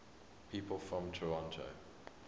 people from toronto